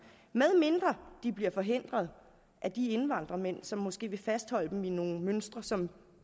medmindre de bliver forhindret af de indvandrermænd som måske vil fastholde dem i nogle mønstre som